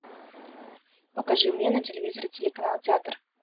покажи мне на телевизоре телеканал театр